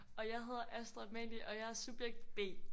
Og jeg hedder Astrid-Amalie og jeg er subjekt B